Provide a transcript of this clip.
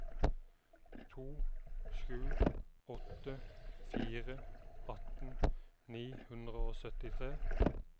to sju åtte fire atten ni hundre og syttitre